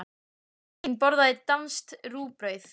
Kristín borðar danskt rúgbrauð.